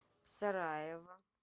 сараево